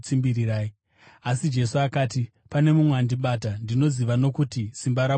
Asi Jesu akati, “Pane mumwe andibata; ndinoziva nokuti simba rabuda mandiri.”